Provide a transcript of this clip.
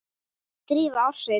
Dýfa ársins?